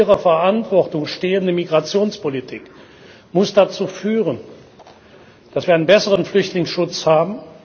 Die in ihrer Verantwortung stehende Migrationspolitik muss dazu führen, dass wir einen besseren Flüchtlingsschutz haben.